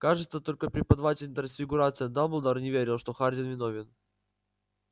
кажется только преподаватель трансфигурации дамблдор не верил что хагрид виновен